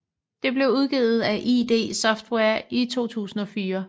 Det blev udgivet af id Software i 2004